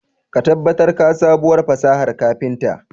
Ka tabbatar ka sabuwar fasahar kafinta.